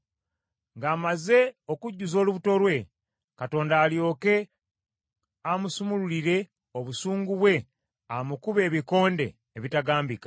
Ng’amaze okujjuza olubuto lwe, Katonda alyoke amusumulurire obusungu bwe amukube ebikonde ebitagambika.